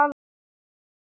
Jafnvel ekki ömmur.